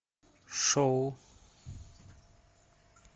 шоу